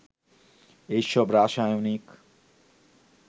এসব রাসায়নিক